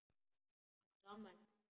Áttu afmæli?